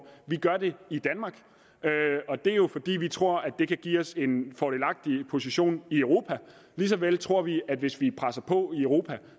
vi gør det i danmark og det er jo fordi vi tror det kan give os en fordelagtig position i europa lige så vel tror vi at hvis vi presser på i europa